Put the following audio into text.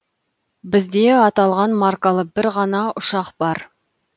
бізде аталған маркалы бір ғана ұшақ бар